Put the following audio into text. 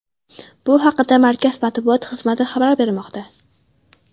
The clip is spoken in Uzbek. Bu haqda Markaz matbuot xizmati xabar bermoqda.